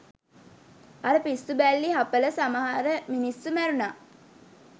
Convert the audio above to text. අර පිස්සු බැල්ලි හපල සමහර මිනිස්සු මැරුනා